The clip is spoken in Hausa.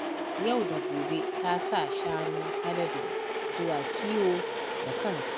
Yau da gobe ta sa shanun Haladu zuwa kiwo da kansu.